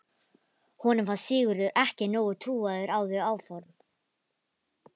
Honum fannst Sigurður ekki nógu trúaður á þau áform.